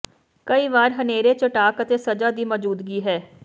ਕਈ ਵਾਰ ਹਨੇਰੇ ਚਟਾਕ ਅਤੇ ਸਜ਼ਾ ਦੀ ਮੌਜੂਦਗੀ ਹੈ